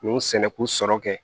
N y'u sɛnɛ k'u sɔrɔ kɛ